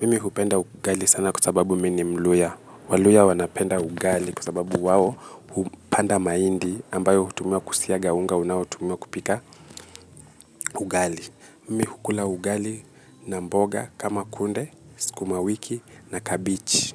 Mimi hupenda ugali sana kwasababu mimi ni mluyha. Waluyha wanapenda ugali kwasababu wao upanda mahindi ambayo utumiwa kusiaga unga unaotumiwa kupika ugali. Mimi ukula ugali na mboga kama kunde, sukumawiki na kabichi.